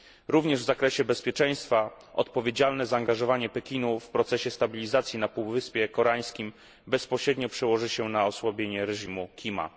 Również w zakresie bezpieczeństwa odpowiedzialne zaangażowanie Pekinu w procesie stabilizacji na Półwyspie Koreańskim bezpośrednio przełoży się na osłabienie reżimu Kima.